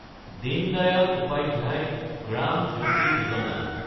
Deen Dayal Upadhyay Gram Jyoti Yojana